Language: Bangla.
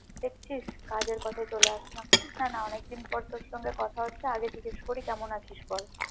দেখছিস কাজের কথায় চলে আসলাম হ্যাঁ না অনেকদিন পর তোর সাথে কথা হচ্ছে আগে জিজ্ঞেস করি কেমন আছিস বল